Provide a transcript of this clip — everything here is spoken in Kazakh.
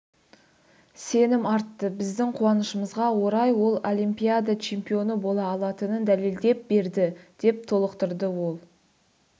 сенім артты біздің қуанышымызға орай ол олимпиада чемпионы бола алатынын дәлелдеп берді деп толықтырды ол